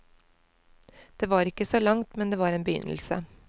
Det var ikke så langt, men det var en begynnelse.